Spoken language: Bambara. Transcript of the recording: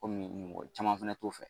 Kɔmi mɔgɔ caman fana t'o fɛ